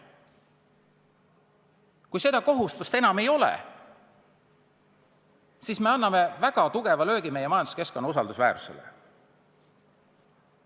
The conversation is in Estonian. Kui seda kohustust enam ei ole, siis anname väga tugeva löögi meie majanduskeskkonna usaldusväärsusele.